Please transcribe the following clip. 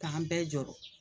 K'an bɛɛ jɔrɔ